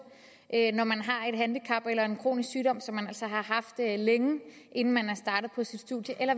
når man har et handicap eller en kronisk sygdom som man altså har haft længe inden man er startet på sit studium eller